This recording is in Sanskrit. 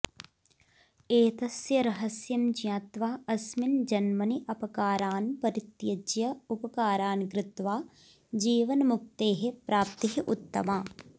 एतस्य रहस्यं ज्ञात्वा अस्मिन् जन्मनि अपकारान् परित्यज्य उपकारान् कृत्वा जीवन्मुक्तेः प्राप्तिः उत्तमा